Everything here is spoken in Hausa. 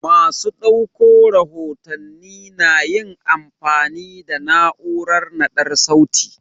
Masu ɗauko rahotanni na yin amfani da na'urar naɗar sauti.